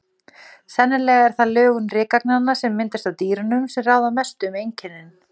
Sennilega er það lögun rykagnanna, sem myndast af dýrunum, sem ráða mestu um einkennin.